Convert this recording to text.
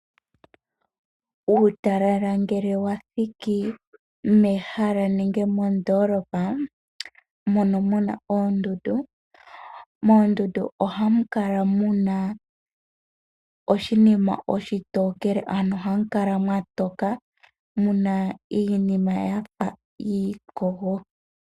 Uutalala ngele wathiki mehala nenge mondoolopa mono muna oondundu, moondundu ohamu kala muna oshinima oshitokele, ano ohamu kala mwatoka muna iinima yafa iikogo.